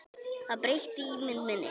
Það breytti ímynd minni.